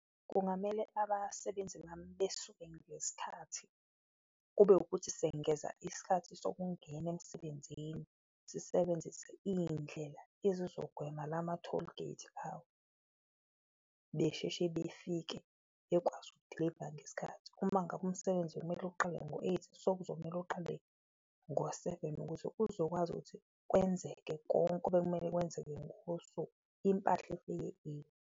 Kungamele abasebenzi bami besuke ngesikhathi kube wukuthi sengeza isikhathi sokungena emsebenzini, sisebenzise iyindlela ezizogwema lama-tollgate besheshe befike bekwazi ukudiliva ngesikhathi. Uma ngabe umsebenzi kumele uqale ngo-eight, sokuzomele uqale ngo-seven ukuze kuzokwazi ukuthi kwenzeke konke obekumele kwenzeke ngokosuku, impahla ifike eli.